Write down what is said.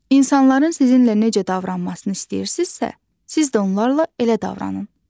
İnsanların sizinlə necə davranmasını istəyirsizsə, siz də onlarla elə davranın.